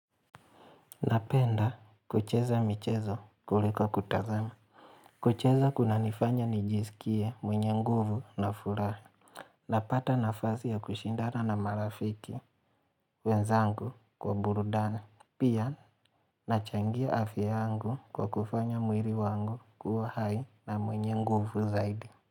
Napenda kucheza michezo kuliko kutazama. Kucheza kunanifanya nijisikie mwenye nguvu na furaha. Napata nafasi ya kushindana na marafiki wenzangu kwa burudani. Pia nachangia afya yangu kwa kufanya mwili wangu kuwa hai na mwenye nguvu zaidi.